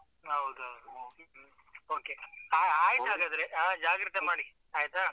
ಹೌದು ಹೌದು ಹ್ಮ್ okay. ಆ ಆಯ್ತು ಹಾಗಾದ್ರೆ ಜಾಗ್ರತೆ ಮಾಡಿ ಆಯ್ತಾ?